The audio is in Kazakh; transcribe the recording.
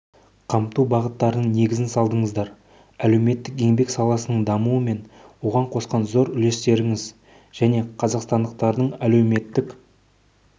қамту бағыттарының негізін салдыңыздар әлеуметтік-еңбек саласының дамуы мен оған қосқан зор үлестеріңіз және қазақстандықтардың әлеуметтік